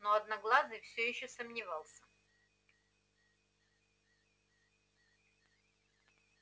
но одноглазый все ещё сомневался